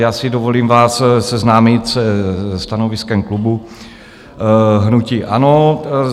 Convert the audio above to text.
Já si dovolím vás seznámit se stanoviskem klubu hnutí ANO.